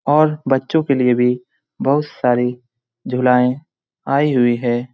और बच्चों के लिए भी बहुत सारी झुलाएं आए हुए है।